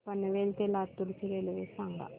पनवेल ते लातूर ची रेल्वे सांगा